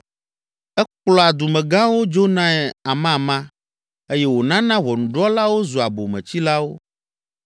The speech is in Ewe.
Ekplɔa dumegãwo dzonae amama eye wònana Ʋɔnudrɔ̃lawo zua bometsilawo.